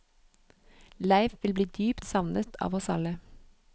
Leif vil bli dypt savnet av oss alle.